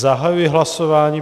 Zahajuji hlasování.